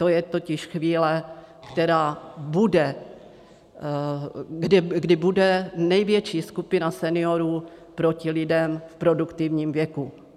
To je totiž chvíle, která bude, kdy bude největší skupina seniorů proti lidem v produktivním věku.